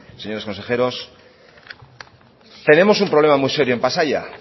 señores consejeros tenemos un problema muy serio en pasaia